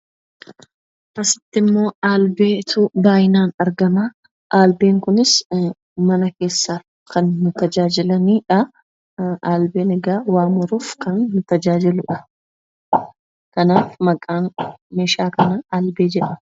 Asitti immoo albeetu baay'inaan argama. Albeen kunis mana keessaa kan nu tajaajilani dha. Albeen egaa waa muruuf kan nu tajaajilu dha. Kanaaf, maqaan meeshaa kanaa albee jedhama.